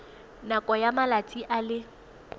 nakong ya malatsi a le